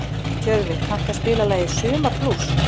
Tjörfi, kanntu að spila lagið „Sumarblús“?